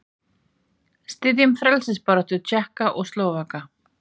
Styðjum frelsisbaráttu Tékka og Slóvaka.